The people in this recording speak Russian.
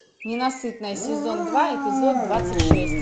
ненасытная сезон два эпизод двадцать шесть